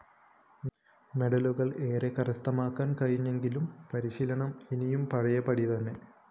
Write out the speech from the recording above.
മെഡലുകള്‍ ഏറെ കരസ്ഥമാക്കാന്‍ കഴിഞ്ഞെങ്കിലും പരിശീലനം ഇന്നും പഴയപടി തന്നെ